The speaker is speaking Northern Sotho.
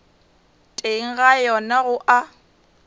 teng ga yona go a